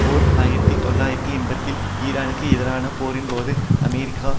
ஓர் ஆயிரத்தி தொள்ளாயிரத்து எண்பதுகளில் ஈரானுக்கு எதிரான போரின்போது அமெரிக்கா